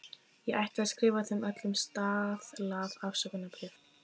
Ég ætti að skrifa þeim öllum staðlað afsökunarbréf.